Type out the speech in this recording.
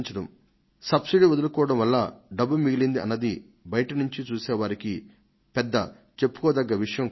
subsidy వదలుకోవడం వల్ల డబ్బు మిగిలింది అన్నది బయటి నుంచి చూసే వారికి పెద్ద చెప్పుకోదగ్గ విషయం కాదు